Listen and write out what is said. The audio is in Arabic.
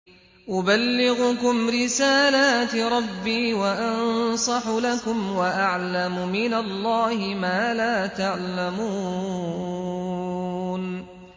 أُبَلِّغُكُمْ رِسَالَاتِ رَبِّي وَأَنصَحُ لَكُمْ وَأَعْلَمُ مِنَ اللَّهِ مَا لَا تَعْلَمُونَ